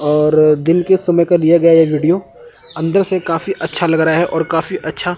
और दिन के समय का लिया गया ये वीडियो अंदर से काफी अच्छा लग रहा है और काफी अच्छा--